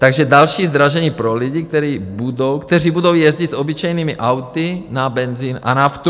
Takže další zdražení pro lidi, kteří budou jezdit s obyčejnými auty na benzin a naftu.